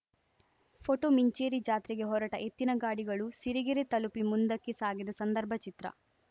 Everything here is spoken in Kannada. ಫೋಟೋ ಮಿಂಚೇರಿ ಜಾತ್ರೆಗೆ ಹೊರಟ ಎತ್ತಿನ ಗಾಡಿಗಳು ಸಿರಿಗೆರೆ ತಲುಪಿ ಮುಂದಕ್ಕೆ ಸಾಗಿದ ಸಂದರ್ಭ ಚಿತ್ರ